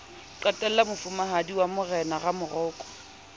qhekella mofumahadi wa morena ramoroko